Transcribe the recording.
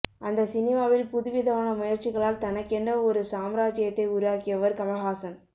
அந்த சினிமாவில் புதுவிதமான முயற்சிகளால் தனக்கென ஒரு சாம்ராஜ்யத்தை உருவாக்கியவர் கமல்ஹாசன்